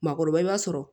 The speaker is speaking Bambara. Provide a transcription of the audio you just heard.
Maakɔrɔba i b'a sɔrɔ